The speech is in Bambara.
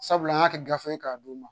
Sabula an ka kɛ gafe ye k'a d'u ma